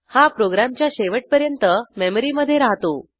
हा प्रोग्रॅमच्या शेवटपर्यंत मेमरीमधे राहतो